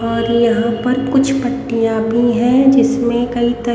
और यहां पर कुछ पत्तियां भी है जिसमें कई त--